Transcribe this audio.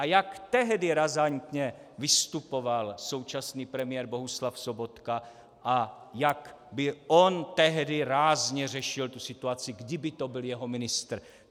A jak tehdy razantně vystupoval současný premiér Bohuslav Sobotka a jak by on tehdy rázně řešil tu situaci, kdyby to byl jeho ministr!